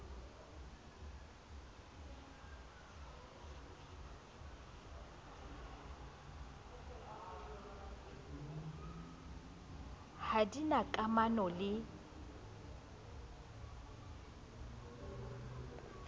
ha di na kamano le